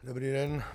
Dobrý den.